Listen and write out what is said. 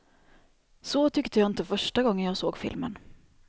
Så tyckte jag inte första gången jag såg filmen.